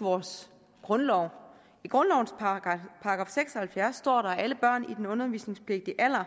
vores grundlov i grundlovens § seks og halvfjerds står der at alle børn i den undervisningspligtige alder